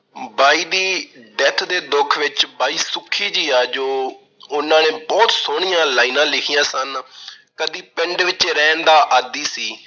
ਬਾਈ ਦੀ death ਦੇ ਦੁੱਖ ਵਿੱਚ ਬਾਈ ਸੁੱਖੀ ਜੀ ਆ ਜੋ ਉਹਨਾਂ ਨੇ ਬਹੁਤ ਸੋਹਣੀਆਂ lines ਲਿਖੀਆਂ ਸਨ- ਕਦੀ ਪਿੰਡ ਵਿੱਚ ਰਹਿਣ ਦਾ ਆਦੀ ਸੀ।